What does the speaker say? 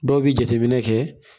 Dɔw bɛ jateminɛ kɛ